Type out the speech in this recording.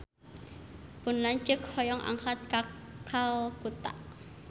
Pun lanceuk hoyong angkat ka Kalkuta